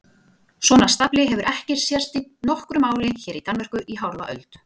Svona stafli hefur ekki sést í nokkru máli hér í Danmörku í hálfa öld!